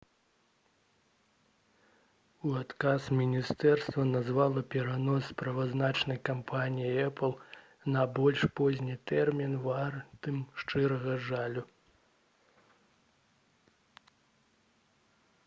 у адказ міністэрства назвала перанос справаздачы кампаніяй «эпл» на больш позні тэрмін «вартым шчырага жалю»